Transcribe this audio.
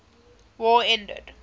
war ended